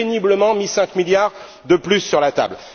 Vous avez péniblement mis 5 milliards de plus sur la table.